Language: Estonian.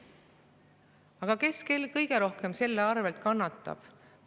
Aga kes kõige rohkem selle pärast kannatab?